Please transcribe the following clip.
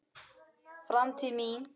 Framtíð mín?